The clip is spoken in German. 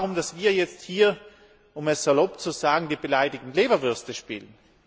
Geht es darum, dass wir jetzt hier, um es salopp zu sagen, die beleidigten Leberwürste spielen?